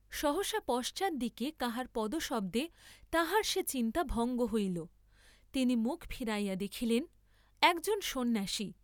সহসা পশ্চাৎ দিকে কাহার পদশব্দে তাঁহার সে চিন্তা ভঙ্গ হইল, তিনি মুখ ফিরাইয়া দেখিলেন, একজন সন্ন্যাসী।